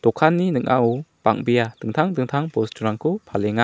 dokanni ning·ao bang·bea dingtang dingtang bosturangko palenga.